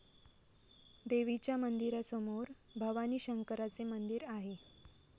देवीच्या मंदिरासमोर भवानीशंकराचे मंदिर आहे.